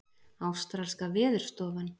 Ástralska veðurstofan